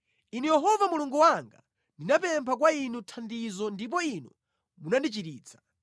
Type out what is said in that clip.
Inu Yehova Mulungu wanga ndinapempha kwa Inu thandizo ndipo Inu munandichiritsa.